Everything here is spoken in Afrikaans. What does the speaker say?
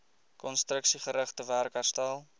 konstruksiegerigte werk herstel